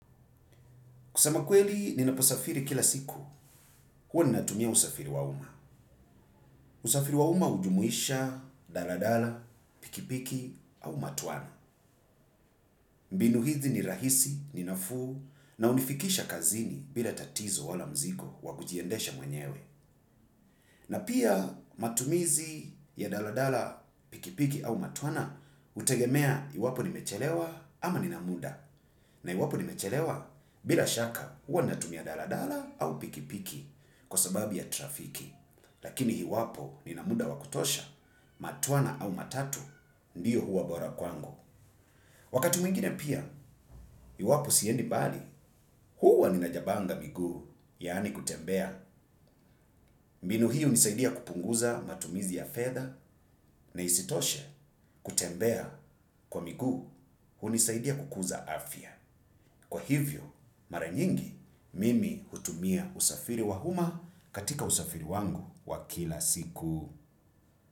Kusema kweli, ninaposafiri kila siku. Huwa ninatumia usafiri wa umma. Usafiri wauma ujumuisha, dala dala, pikipiki, au matwana. Mbinu hizi ni rahisi, ninafu, na unifikisha kazini bila tatizo wala mziko wa kujiendesha mwenyewe. Na pia matumizi ya dala dala, pikipiki, au matwana, utegemea iwapo nimechelewa ama ninamuda. Na iwapo nimechelewa bila shaka, huwa ninatumia dala dala, au pikipiki. Kwa sababu ya trafiki lakini hiwapo ninamuda wakutosha matuana au matatu ndiyo huwa borakuangu. Wakati mingine pia, hiwapo siendi bali huwa ninajabanga migu yani kutembea mbinu hii unisaidia kupunguza matumizi ya fedha na isitoshe kutembea kwa miguu hunisaidia kukuza afya. Kwa hivyo, maranyingi mimi hutumia usafiri wahuma katika usafiri wangu wakila siku.